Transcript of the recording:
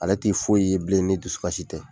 Ale t'i foyi ye bilen ni dusukasi tɛ.